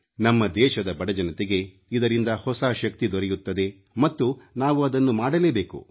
ನಮ್ಮ ದೇಶದ ಬಡಜನತೆಗೆ ಇದರಿಂದ ಹೊಸ ಶಕ್ತಿ ದೊರೆಯುತ್ತದೆ ಮತ್ತು ನಾವು ಅದನ್ನು ಮಾಡಲೇಬೇಕು